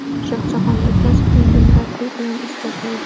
Shohjahon Ergashev yangi murabbiy bilan ish boshlaydi.